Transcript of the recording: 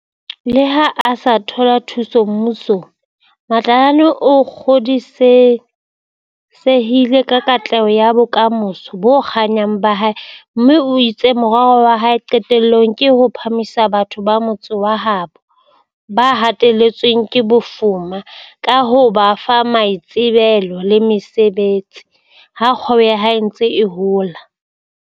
Leha a sa thola thuso mmu song, Matlakane o kgodisehile ka katleho ya bokamoso bo kganyang ba hae mme o itse morero wa hae qetellong ke ho phahamisa batho ba motse wa habo ba hateletsweng ke bofu ma ka ho ba fa maitsebelo le mosebetsi, ha kgwebo ya hae e ntse e hola.